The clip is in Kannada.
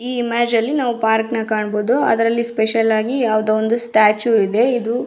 ಈ ಇಮೇಜ್ ಅಲ್ಲಿ ನಾವು ಪಾರ್ಕ್ನ ಕಾಣಬಹುದು ಅದ್ರಲ್ಲಿ ಸ್ಪೆಷಲ್ ಆಗಿ ಒಂದು ಸ್ಟ್ಯಾಚು ಇದೆ ಇದು --